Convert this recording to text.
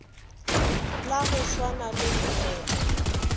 la go swana le mmepe